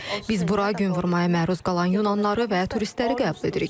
Biz bura gün vurmaya məruz qalan Yunanlıları və turistləri qəbul edirik.